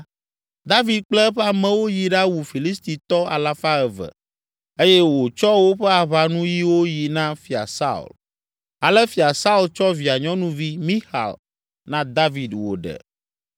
David kple eƒe amewo yi ɖawu Filistitɔ alafa eve (200) eye wòtsɔ woƒe aʋanuyiwo yi na Fia Saul. Ale Fia Saul tsɔ via nyɔnuvi, Mixal, na David wòɖe.